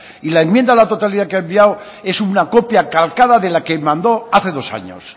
y la enmienda a la totalidad que ha enviado es una copia calcada de la que mandó hace dos años